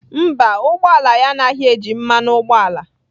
Mba, ụgbọ ala ya anaghị eji mmanụ ụgbọala.